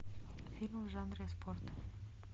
фильмы в жанре спорт